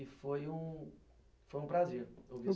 E foi um foi um prazer ouvir isso.